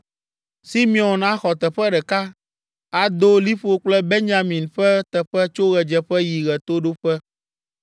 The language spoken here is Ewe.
Simeon axɔ teƒe ɖeka; ado liƒo kple Benyamin ƒe teƒe tso ɣedzeƒe yi ɣetoɖoƒe.